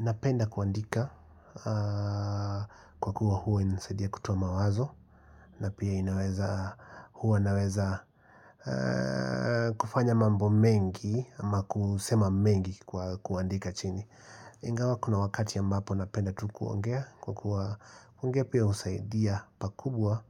Napenda kuandika kwa kuwa huwa nisaidia kutoa mawazo na pia inaweza huwa naweza kufanya mambo mengi ama kusema mengi kwa kuandika chini Ingawa kuna wakati ya ambapo napenda tu kuongea Kwa kuongea pia husaidia pakubwa